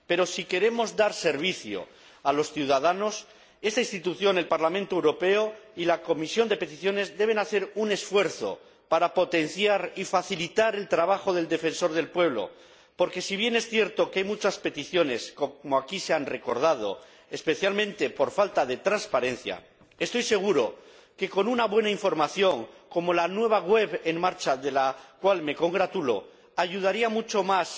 Pero si queremos dar servicio a los ciudadanos, esta institución, el Parlamento Europeo, y la Comisión de Peticiones deben hacer un esfuerzo para potenciar y facilitar el trabajo del Defensor del Pueblo, porque, si bien es cierto que hay muchas peticiones, como aquí se ha recordado, especialmente por falta de transparencia, estoy seguro de que con una buena información —como la nueva web que ya está en marcha, de la cual me congratulo—, se contribuiría mucho más